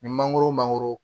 Ni mangoro mangoro